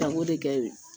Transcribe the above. Tanko de kɛ ye